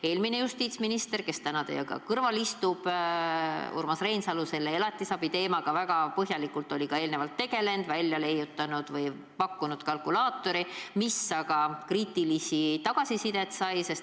Eelmine justiitsminister, kes täna teie kõrval istub, Urmas Reinsalu, tegeles elatisabi teemaga väga põhjalikult ja pakkus välja kalkulaatori, mis aga sai kriitilist tagasisidet.